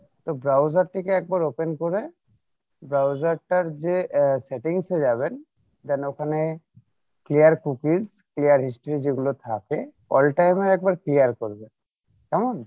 তো browser থেকে একবার open করে browser টার যে আহ settings এ যাবেন then ওখানে clear cookies, clear histories এগুলো থাকে একবার clear করবেন কেমন?